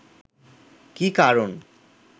কী কারণ